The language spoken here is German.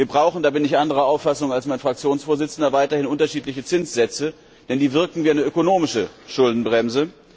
Wir brauchen da bin ich anderer Auffassung als mein Fraktionsvorsitzender weiterhin unterschiedliche Zinssätze, denn die wirken wie eine ökonomische Schuldenbremse.